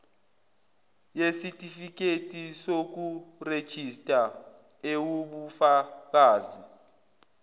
yesitifiketi sokurejista ewubufakazi